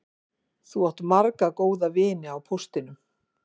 Þú átt marga góða vini á póstinum